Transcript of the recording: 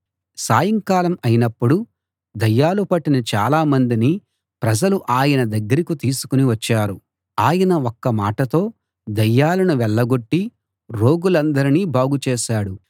సాయంకాలం అయినప్పుడు దయ్యాలు పట్టిన చాలా మందిని ప్రజలు ఆయన దగ్గరికి తీసుకు వచ్చారు ఆయన ఒక్క మాటతో దయ్యాలను వెళ్ళగొట్టి రోగులందరినీ బాగు చేశాడు